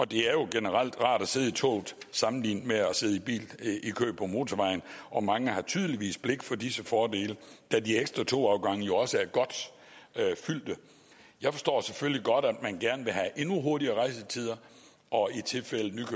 det er jo generelt rart at sidde i toget sammenlignet med at sidde i kø på motorvejen og mange har tydeligvis blik for disse fordele da de ekstra togafgange jo også er godt fyldte jeg forstår selvfølgelig godt at man gerne vil have endnu hurtigere rejsetider og i tilfældet med